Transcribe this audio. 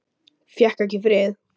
Fékk ekki frið